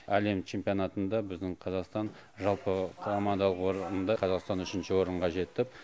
әлем чемпионатында біздің қазақстан жалпы командалық орында қазақстан үшінші орынға жетіп